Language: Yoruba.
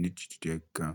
ní jíjẹ díẹ̀ gan.